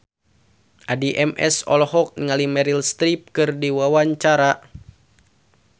Addie MS olohok ningali Meryl Streep keur diwawancara